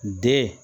Den